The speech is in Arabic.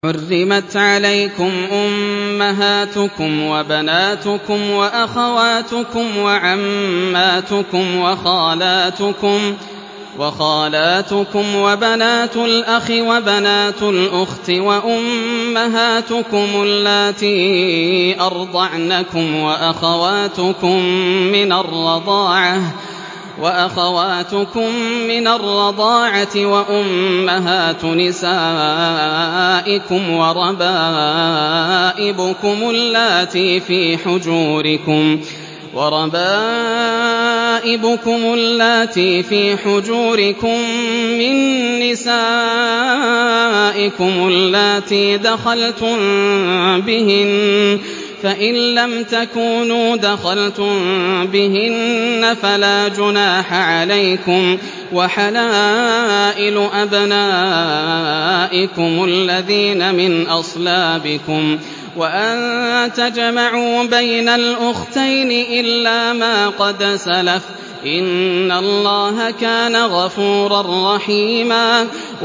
حُرِّمَتْ عَلَيْكُمْ أُمَّهَاتُكُمْ وَبَنَاتُكُمْ وَأَخَوَاتُكُمْ وَعَمَّاتُكُمْ وَخَالَاتُكُمْ وَبَنَاتُ الْأَخِ وَبَنَاتُ الْأُخْتِ وَأُمَّهَاتُكُمُ اللَّاتِي أَرْضَعْنَكُمْ وَأَخَوَاتُكُم مِّنَ الرَّضَاعَةِ وَأُمَّهَاتُ نِسَائِكُمْ وَرَبَائِبُكُمُ اللَّاتِي فِي حُجُورِكُم مِّن نِّسَائِكُمُ اللَّاتِي دَخَلْتُم بِهِنَّ فَإِن لَّمْ تَكُونُوا دَخَلْتُم بِهِنَّ فَلَا جُنَاحَ عَلَيْكُمْ وَحَلَائِلُ أَبْنَائِكُمُ الَّذِينَ مِنْ أَصْلَابِكُمْ وَأَن تَجْمَعُوا بَيْنَ الْأُخْتَيْنِ إِلَّا مَا قَدْ سَلَفَ ۗ إِنَّ اللَّهَ كَانَ غَفُورًا رَّحِيمًا